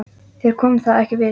Þér kom það ekkert við!